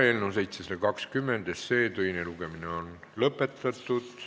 Eelnõu 720 teine lugemine on lõpetatud.